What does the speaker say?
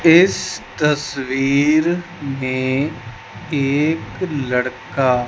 इस तस्वीर में एक लड़का --